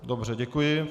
Dobře, děkuji.